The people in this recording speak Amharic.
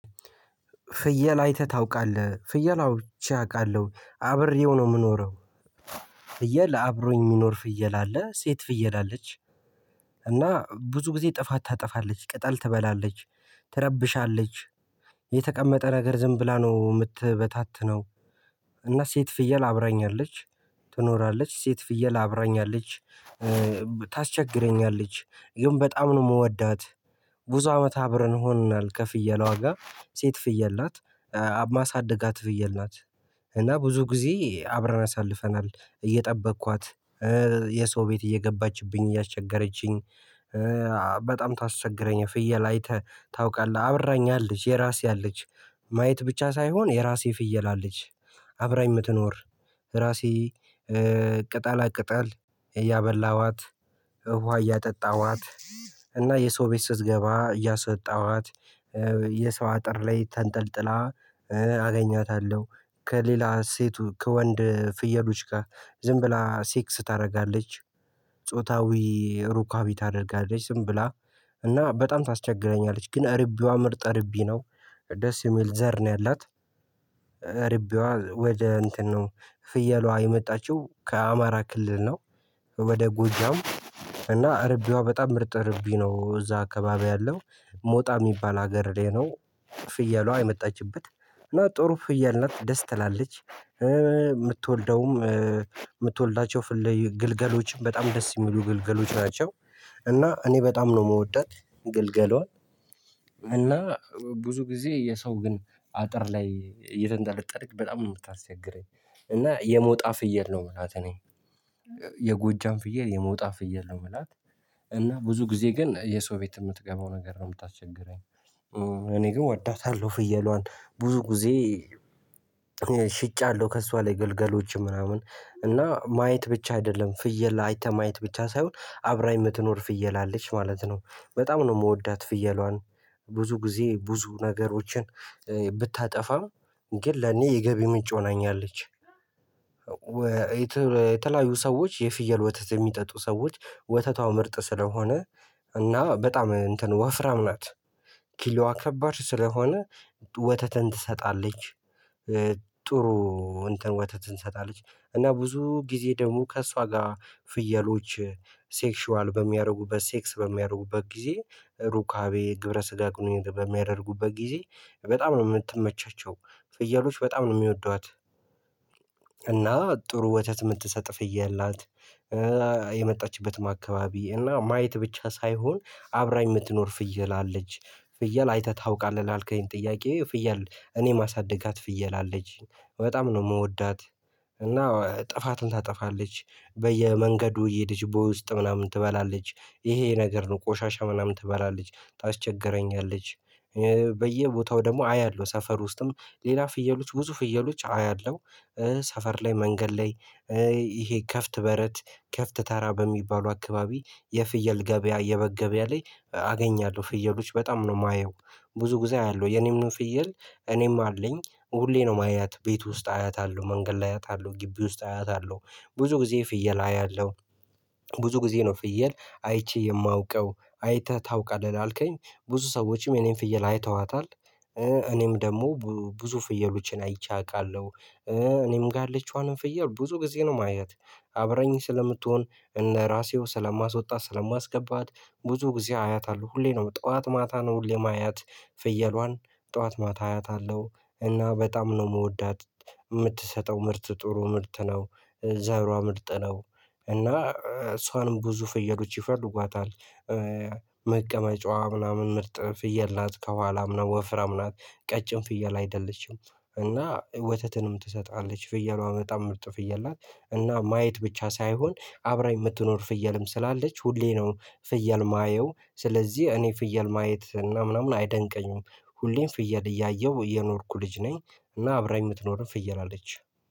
ፍየል አይተህ ታውቃለህ ፍየል አው ቼ አውቃለሁ አብሬው ነው የምኖረው። ፍየል አብሮኝ የሚኖር ፍየል አለ ሴት ፍየል አለች። እና ብዙ ጊዜ ጥፋት ታጠፋለች ቅጠል ትበላለች። ትረብሻለች። የተቀመጠ ነገር ዝም ብላ ነው የምትበታትነው። እና ሴት ፍየል አብራኛለች ትኖራለች ሴት ፍየል አብራኛለች። ታስቸግረኛለች ግን በጣም ነው የምወዳት። ብዙ አመት አብረን ሆኖናል ከፍየሏ ጋ ሴት ፍየል ናት። ማሳድጋት ፍየል ናት። እና ብዙ ጊዜ አብረን አሳልፈናል እየጠበቅኳት የሰው ቤት እየገባችብኝ እያስቸገረችኝ። በጣም ታስቸግረኝ ፍየል አይተህ ታውቃለህ አብራኝ አለች የራሴ አለች። ማየት ብቻ ሳይሆን የራሴ ፍየል አለች። አብራኝ የምትኖር ራሴ ቅጠላ ቅጠል እያበላኋት ውሃ እያጠጣኋት። እና የሰው ቤት ስትገባ እያሶጣኋት። የሰው አጥር ላይ ተንጠልጥላ አገኛታለሁ ከሌላ ሴቱ ከወንድ ፍየሎች ጋር ዝም ብላ ሴክስ ታደርጋለች። ጾታዊ ሩካቤ ታደርጋለች ዝም ብላ እና በጣም ታስቸግረኛለች ግን እርቤዋ ምርጥ እርቤ ነው። ደስ የሚል ዘር ነው ያላት። እርቤዋ ወደ እንትን ነው ፍየሏ የመጣችው ከአማራ ክልል ነው። ወደ ጎጃም። እና እርቤዋ በጣም ምርጥ እረቢ ነው እዛ አካባቢ ያለው ሞጣ የሚባል ሀገር ላይ ነው። ፍየሏ የመጣችበት እና ጥሩ ፍየል ናት ደስ ትላለች የምትወልደውም የምትወልዳቸው ግልገሎችም በጣም ደስ የሚሉ ግልገሎች ናቸው። እና እኔ በጣም ነው የምወዳት ግልገሏል እና ብዙ ጊዜ የሰው ግን አጥር ላይ እየተንጠለጠለች በጣም ነው የምታስቸግረኝ። እና የሞጣ ፍየል ነው የምላት እኔ። የጎጃም ፍየል የሞጣ ፍየል ነው የምላት። እና ብዙ ጊዜ ግን የሰው ቤት የምትገባው ነገር ነው የምታስቸግረኝ። እኔ ግን እወደውታለሁ ፍየሏን ብዙ ጊዜ። ሽጫለሁ ከእሷ ላይ ግልገሎች ምናምን እና ማየት ብቻ አይደለም ፍየል አይተህ ማየት ብቻ ሳይሆን አብራኝ የምትኖር ፍየል አለች ማለት ነው። በጣም ነው የምወዳት ፍየሏን። ብዙ ጊዜ ብዙ ነገሮችን ብታጠፋም ግን ለኔ የገቢ ምንጭ ሆናኛለች። የተለያዩ ሰዎች የፍየል ወተት የሚጠጡ ሰዎች ወተቷ ምርጥ ስለሆነ እና በጣም እንትን ወፍራም ናት። ኪሎዋ ከባድ ስለሆነ ወተተን ትሰጣለች። ጥሩ እንትን ወተትን ትሰጣለች። እና ብዙ ጊዜ ደግሞ ከእሷ ጋር ፍየሎች ሴክሹዋል በሚያደርጉበት ሴክስ በሚያደርጉበት ጊዜ ሩካቤ ግብረስጋ ግንኙነት በሚያደርጉበት ጊዜ በጣም ነው የምትመቻቸው ፍየሎች በጣም ነው የሚወዷት። ጥሩ ወተት የምትሰጥ ፍየል ናት። የመጣችበትም አካባቢ እና ማየት ብቻ ሳይሆን አብራኝ የምትኖር ፍየል አለች። ፍየል አይተህ ታውቃለህ ላልከኝ ጥያቄ ፍየል እኔ ማሳደጋት ፍየል አለች በጣም ነው የምወዳት። እና ጥፋትን ታጠፋለች በየመንገዱ እየሄደች በውስጥ ምናምን ትበላለች ይሄ ነገር ነው ቆሻሻ ምናምን ትበላለች ታስቸግረኛለች። በየቦታው ደግሞ አያለሁ ሰፈር ውስጥም ሌላ ፍየሎች ብዙ ፍየሎች አያለሁ። ሰፈር ላይ መንገድ ላይ። ይሄ ከፍት በረት ከፍት ተራ በሚባሉ አካባቢ የፍየል ገበያ የበግ ገበያ ላይ አገኛለሁ ፍየሎች በጣም ነው የማየው። ብዙ ጊዜ አያለሁ የኔም ነው ፍየል እኔም አለኝ ሁሌ ነው ማያት ቤት ውስጥ አያታለሁ መንገድ አያታለሁ ግቢ ውስጥ አያታለሁ። ብዙ ጊዜ ፍየል አያለሁ። ብዙ ጊዜ ነው ፍየል አይቼ የማውቀው አይተህ ታውቃለህ ላልከኝ? ብዙ ሰዎችም የኔን ፍየል አይተዋታል። እኔም ደግሞ ብዙ ፍየሎችን አይቼ አውቃለሁ። እኔም ጋር ያለችዋንም ፍየል ብዙ ጊዜ ነው ማየት። አብራኝ ስለምትሆን እነ ራሴው ስለማስወጣት ስለማስገባት። ብዙ ጊዜ አያታለሁ ሁሌ ነው ጠዋት ማታ ነው ሁሌ ማያት። ፍየሏን ጠዋት ማታ አያታለሁ እና በጣም ነው የምወዳት። የምትሰጠው ምርት ጥሩ ምርት ነው። ዘሯ ምርጥ ነው። እና እሷንም ብዙ ፍየሎች ይፈልጓታል። መቀመጫዋ ምናምን ምርጥ ፍየል ናት ከኋላም ነው ወፍራም ናት። ቀጭን ፍየል አይደለችም። እና ወተትንም ትሰጣለች ፍየሏ በጣም ምርጥ ፍየል ናት። እና ማየት ብቻ ሳይሆን አብራኝ የምትኖር ፍየልም ስላለች ሁሌ ነው ፍየል የማየው ስለዚህ እኔ ፍየል ማየት እና ምናምን አይደንቀኝም። ሁሌም ፍየል እያየሁ የኖርኩ ልጅ ነኝ። እና አብራኝ የምትኖርም ፍየል አለች።